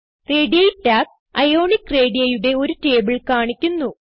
റേഡി ടാബ് അയോണിക് radiiയുടെ ഒരു ടേബിൾ കാണിക്കുന്നു